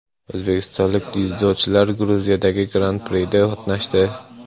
O‘zbekistonlik dzyudochilar Gruziyadagi Gran Prida qatnashdi.